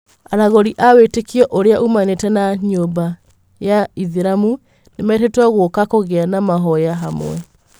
Aragũri a wĩtĩkio ũrĩa umanite na nyũmba ya ĩthĩramu nĩmetĩtwo gũka kũgĩa na mahoya hamwe.